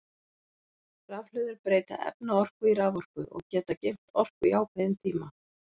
Rafhlöður breyta efnaorku í raforku og geta geymt orku í ákveðin tíma.